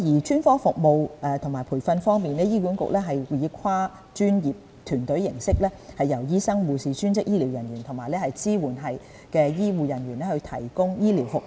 專科服務和培訓方面，醫管局以跨專業團隊的方式，由醫生、護士、專職醫療人員和支援醫護人員提供醫療服務。